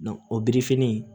o birifini